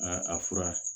Aa a fura